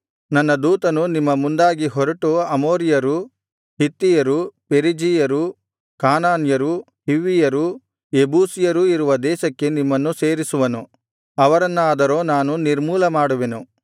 ನನ್ನ ದೂತನು ನಿಮ್ಮ ಮುಂದಾಗಿ ಹೊರಟು ಅಮೋರಿಯರು ಹಿತ್ತಿಯರು ಪೆರಿಜೀಯರು ಕಾನಾನ್ಯರು ಹಿವ್ವಿಯರು ಯೆಬೂಸಿಯರೂ ಇರುವ ದೇಶಕ್ಕೆ ನಿಮ್ಮನ್ನು ಸೇರಿಸುವನು ಅವರನ್ನಾದರೋ ನಾನು ನಿರ್ಮೂಲಮಾಡುವೆನು